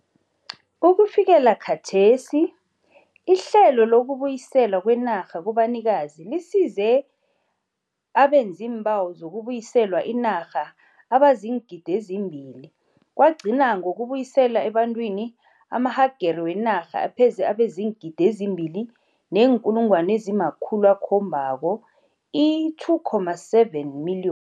Ukufikela khathesi, ihlelo lokubuyiselwa kwenarha kubanikazi lisize abenziimbawo zokubuyiselwa inarha abaziingidi ezimbili kwagcina ngokubuyiselwa ebantwini amahagere wenarha apheze abeziingidi ezimbili neenkulungwana ezimakhulu akhombako, i-2.7 million.